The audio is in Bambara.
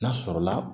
N'a sɔrɔla